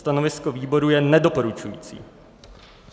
Stanovisko výboru je nedoporučující.